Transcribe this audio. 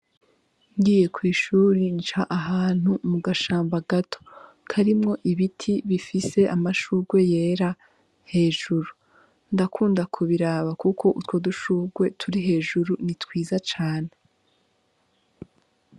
Ngiye kwi shuri nca ahantu mu gashamba gato karimwo ibiti bifise amashurwe yera hejuru, ndakunda kubiraba kuko utwo dushurwe turi hejuru ni twiza cane.